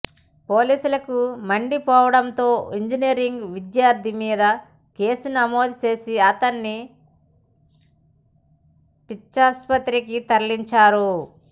పోలీసులకు మండిపోవడంతో ఇంజనీరింగ్ విద్యార్థి మీద కేసు నమోదు చేసి అతన్ని పిచ్చాసుపత్రికి తరలించారు